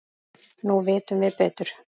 Nú vitum við betur.